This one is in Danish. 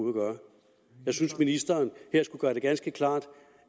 at gøre jeg synes ministeren her skulle gøre det ganske klart